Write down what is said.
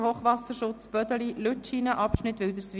Hochwasserschutz Bödeli, Lütschine, Abschnitt Wilderswil.